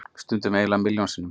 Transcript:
Stundum eiginlega milljón sinnum.